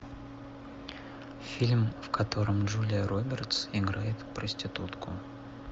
фильм в котором джулия робертс играет проститутку